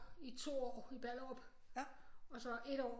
I 2 år i Ballerup og så 1 år